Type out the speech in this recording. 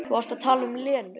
Þú varst að tala um Lenu.